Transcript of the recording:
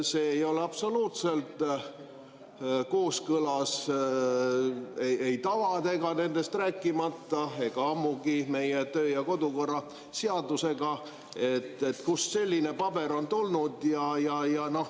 See ei ole absoluutselt kooskõlas ei tavadega, nendest rääkimata, ega ammugi meie töö‑ ja kodukorra seadusega, et kust selline paber on tulnud.